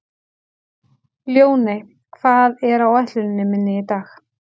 Ljóney, hvað er á áætluninni minni í dag?